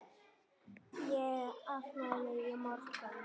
Ég á afmæli á morgun.